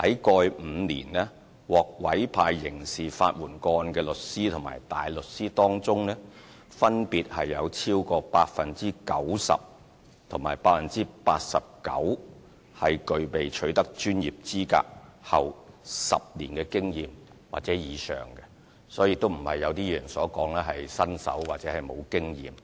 過去5年，在獲委派刑事法援個案的律師和大律師當中，分別有超過 90% 和 89% 在取得專業資格後，具備10年或以上經驗，他們並非如一些議員所說是新手或沒有經驗。